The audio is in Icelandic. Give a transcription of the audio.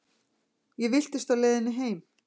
Ég villtist á leiðinni heim.